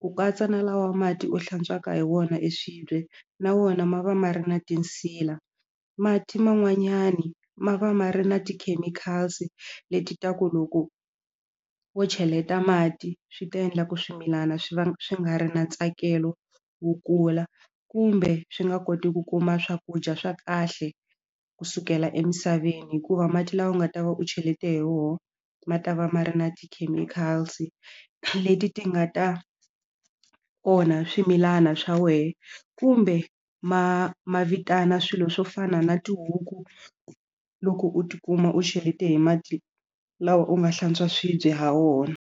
ku katsa na lawa mati u hlantswaka hi wona swibye na wona ma va ma ri na tinsila mati man'wanyani ma va ma ri na ti-chemicals leti ta ku loko wo cheleta mati swi ta endla ku swimilana swi va swi nga ri na ntsakelo wo kula kumbe swi nga koti ku kuma swakudya swa kahle kusukela emisaveni hikuva mati lawa u nga ta va u chelete hi wona ma ta va ma ri na ti-chemicals leti ti nga ta onha swimilana swa xa wena kumbe ma ma vitana swilo swo fana na tihuku loko u tikuma u cheleta hi mati lawa u nga hlantswa swibye ha wona.